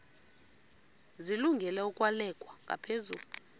zilungele ukwalekwa ngaphezulu